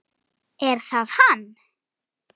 Er það hann?